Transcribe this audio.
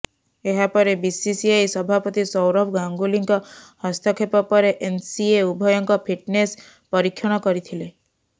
ଏହାପରେ ବିସିସିଆଇ ସଭାପତି ସୌରଭ ଗାଙ୍ଗୁଲିଙ୍କ ହସ୍ତକ୍ଷେପ ପରେ ଏନ୍ସିଏ ଉଭୟଙ୍କ ଫିଟନେସ୍ ପରୀକ୍ଷଣ କରିଥିଲେ